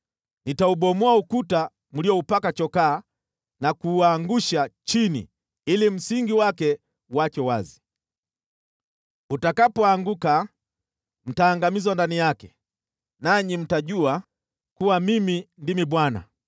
Nitaubomoa ukuta mlioupaka chokaa na kuuangusha chini ili msingi wake uachwe wazi. Utakapoanguka, mtaangamizwa ndani yake, nanyi mtajua kuwa Mimi ndimi Bwana .